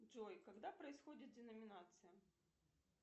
джой когда происходит деноминация